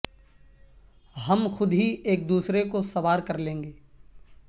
ہم خود ہی ایک دوسرے کو سوار کر لیں گے